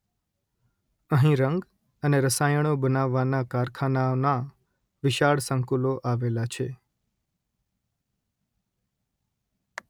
અહીં રંગ અને રસાયણો બનાવવાનાં કારખાનાંઓનાં વિશાળ સંકુલો આવેલાં છે